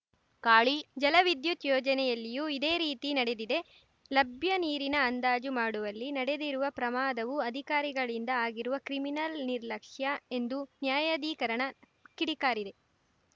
ಕಾಳಿ ಜಲ ವಿದ್ಯುತ್‌ ಯೋಜನೆಯಲ್ಲಿಯೂ ಇದೇ ರೀತಿ ನಡೆದಿದೆ ಲಭ್ಯ ನೀರಿನ ಅಂದಾಜು ಮಾಡುವಲ್ಲಿ ನಡೆದಿರುವ ಪ್ರಮಾದವು ಅಧಿಕಾರಿಗಳಿಂದ ಆಗಿರುವ ಕ್ರಿಮಿನಲ್‌ ನಿರ್ಲಕ್ಷ್ಯ ಎಂದು ನ್ಯಾಯಾಧಿಕರಣ ಕಿಡಿಕಾರಿದೆ